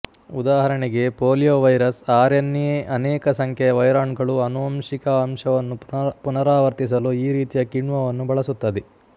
ಉದಾಹರಣೆಗೆ poliovirus RNA ಅನೇಕ ಸಂಖ್ಯೆಯ ವೈರಾಣುಗಳು ಆನುವಂಶಿಕ ಅಂಶವನ್ನು ಪುನರಾವರ್ತಿಸಲು ಈ ರೀತಿಯ ಕಿಣ್ವವನ್ನು ಬಳಸುತ್ತದೆ